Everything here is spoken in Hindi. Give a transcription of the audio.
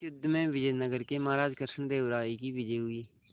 इस युद्ध में विजय नगर के महाराज कृष्णदेव राय की विजय हुई